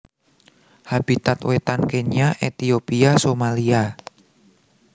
Habitat Wétan Kenya Ethiopia Somalia